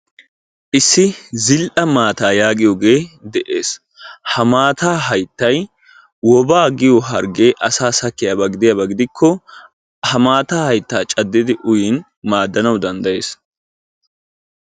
issi zil'a mataa yaagiyoogee de'ees, ha mataa hayttay woobaa giyo hargee asaa sakkiyaba giddikko ha maataa hayttaa caddidi uyiyaba gidikko maadanawu danddayees.